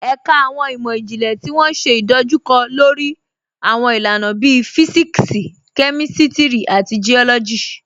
Ẹ̀kà awọn imọ-jinlẹ̀ tó wọ́n ṣé idojúkọ̀ lórí awọn ilànà bíí Físíksì, Kémístírì, àti Geólọ́jì.